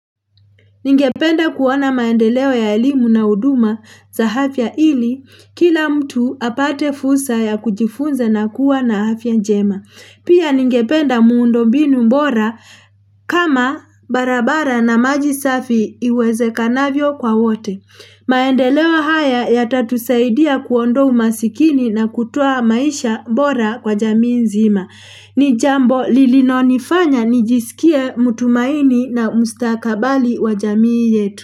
Ningependa kuona maendeleo ya elimu na huduma za afya ili kila mtu apate fulsa ya kujifunza na kuwa na afya njema. Pia ningependa muundombinu mbora kama barabara na maji safi iwezekanavyo kwa wote. Maendeleo haya yatatusaidia kuondoa umasikini na kutoa maisha bora kwa jamii nzima. Ni jambo linalo nifanya nijisikie mutumaini na mustakabali wa jamii yetu.